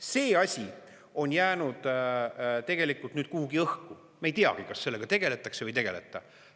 See asi on jäänud tegelikult nüüd kuhugi õhku, me ei teagi, kas sellega tegeldakse või ei tegeleta.